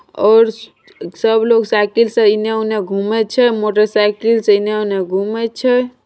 और सब लोग साइकिल से इने उने घूमे छे मोटरसाइकिल से इने उने घूमे छे।